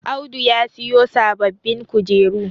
Audu ya siyo sababbin kujeru